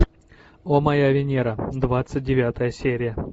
о моя венера двадцать девятая серия